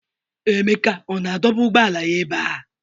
Emeka ọ na-adọba ụgbọala ya ebe a?